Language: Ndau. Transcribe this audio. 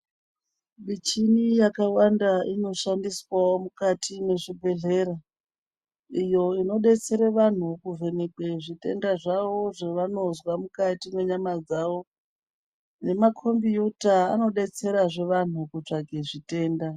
Michini yakawanda inoshandiswawo mukati mezvibhedhera, iyo inodetsera vantu kuvhenekwe zvitenda zvavo zvavanonzwa mukati menyama dzavo, nemakombiyuta anodetserazve vantu kutsvage zvitenda.